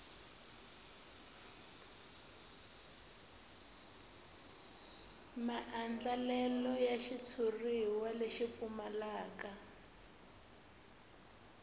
maandlalelo ya xitshuriwa lexi pfumalaka